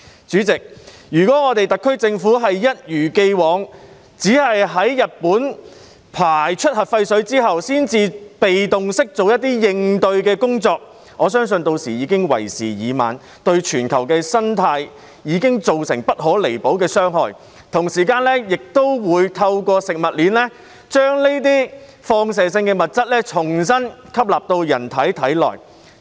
主席，如果特區政府一如既往，只在日本排出核廢水後才被動式做一些應對工作，我相信屆時已經為時已晚，對全球的生態已造成不可彌補的傷害；同時，市民亦都會透過食物鏈，將這些放射性物質重新吸納到人體內。